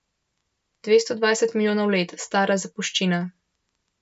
Dvesto dvajset milijonov let stara zapuščina!